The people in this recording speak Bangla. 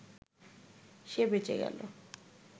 সে বেঁচে গেল